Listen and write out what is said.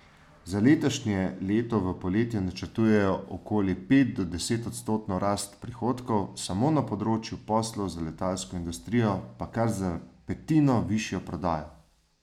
Za letošnje leto v podjetju načrtujejo okoli pet do desetodstotno rast prihodkov, samo na področju poslov za letalsko industrijo pa kar za petino višjo prodajo.